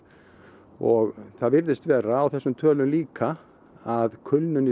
og það virðist vera á þessum tölum líka að kulnun